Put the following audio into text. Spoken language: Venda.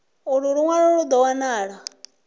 ulu lunwalo lu do wanala